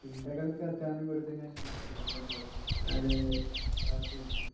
ചിന്തകൾക്കധ്വാനം കൊടുത്തുകൊണ്ടുള്ള ജോലി വന്നുതൊടങ്ങിയത്.